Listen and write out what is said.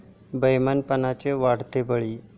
बेइमानपणाचे वाढते बळी